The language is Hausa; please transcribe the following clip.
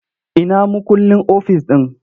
Ina mukullin ofis ɗin?